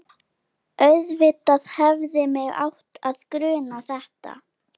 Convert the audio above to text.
Auðvitað hefði mig átt að gruna þetta.